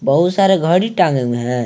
बहुत सारे घड़ी टंगे हुए हैं।